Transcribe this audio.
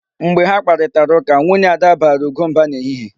Mgbe ha kparịtara ụka, nwunye Ada baara Ugo mba n'ehihie.